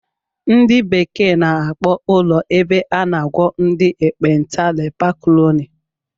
Ndị bekee n'akpọ ụlọ ebe a n'agwọ ndị ekpenta leper colony